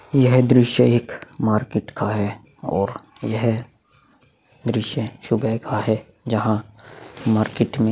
यह दृश्य एक मार्किट का है और यह दृश्य सुबह का है जहाँ मार्किट में--